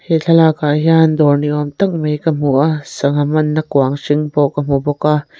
he thlalakah hian dawr ni awm tak mai ka hmu a sangha manna kuang hring pawh ka hmu bawk a.